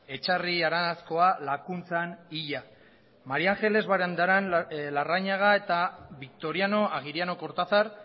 etxarri aranzkoa lakuntzan hila maría ángeles barandiaran larrañaga eta victoriano agiriano kortazar